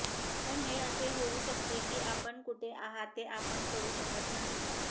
पण हे असे होऊ शकते की आपण कुठे आहात ते आपण करू शकत नाही